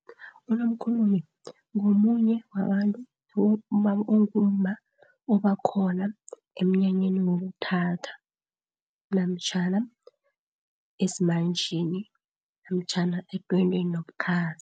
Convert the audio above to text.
Unomkhulumi ngomunye wabantu ongumma oba khona emnyanyeni wokuthatha, namtjhana esimanjeni, namtjhana edwendweni nobukhazi.